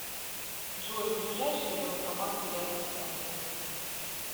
джой ближайшие банкоматы рядом со мной